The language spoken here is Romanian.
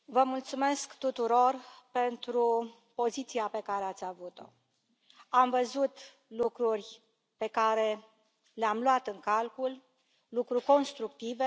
Domnule președinte, vă mulțumesc tuturor pentru poziția pe care ați avut o. Am văzut lucruri pe care le am luat în calcul, lucruri constructive.